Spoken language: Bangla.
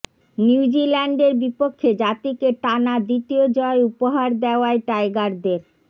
নিউজিল্যান্ডের বিপক্ষে জাতিকে টানা দ্বিতীয় জয় উপহার দেওয়ায় টাইগারদের